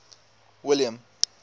william